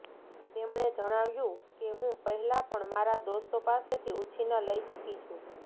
તેમણે જણાવ્યું કે હું પહેલા પણ મારા દોસ્તો પાસેથી ઉછીના લઇ ચુકી છું